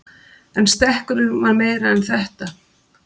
En stekkurinn var meira en þetta.